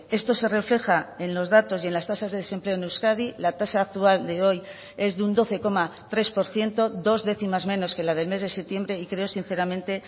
esto se refleja en los datos y en las tasas de desempleo en euskadi la tasa actual de hoy es de un doce coma tres por ciento dos décimas menos que la del mes de septiembre y creo sinceramente